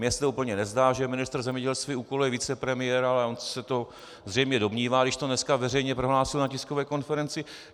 Mně se to úplně nezdá, že ministr zemědělství úkoluje vicepremiéra, ale on se to zřejmě domnívá, když to dneska veřejně prohlásil na tiskové konferenci.